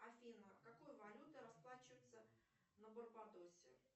афина какой валютой расплачиваются на барбадосе